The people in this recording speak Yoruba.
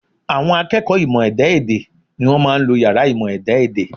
À̀wọn akẹ́kọ̀ọ́ ìmọ̀ ẹ̀dá-èdè ni wọ́n máa ń lo yàrá ìmọ̀ ẹ̀dá-èdè